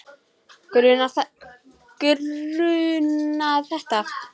Grunað þetta?